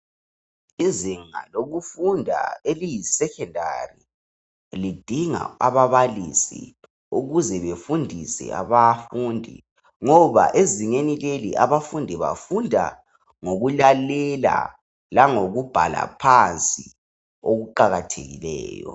Izinga lokufunda eliyi secondary lidinga ababalisi ukuze befundise abafundi ngoba ezingeni leli abafundi bafunda ngokulalela langokubhala phansi okuqakathekileyo.